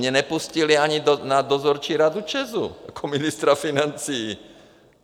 Mě nepustili ani na dozorčí radu ČEZu jako ministra financí.